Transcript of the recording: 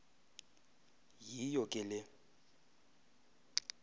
yiyo ke le